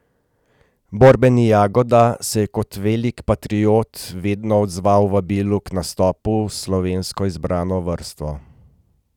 Borbeni Jagoda se je kot velik patriot vedno odzval vabilu k nastopu s slovensko izbrano vrsto.